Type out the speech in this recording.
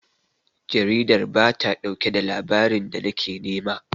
Jaridar ba ta ɗauke da labarin da nake nema.